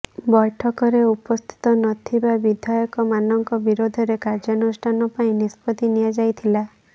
ବୈଠକରେ ଉପସ୍ଥିତ ନ ଥିବା ବିଧାୟକମାନଙ୍କ ବିରୋଧରେ କାର୍ଯ୍ୟାନୁଷ୍ଠାନ ପାଇଁ ନିଷ୍ପତ୍ତି ନିଆଯାଇଥିଲା